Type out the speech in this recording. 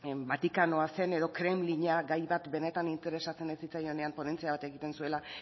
vatikanoa zen edo kremlina gai bat benetan interesatzen ez zitzaienean ponentzia bat egiten zuela